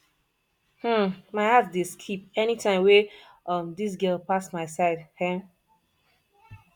um my heart dey skip any time wey um dis girl pass my side um